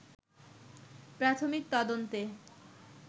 প্রাথমিক তদন্তে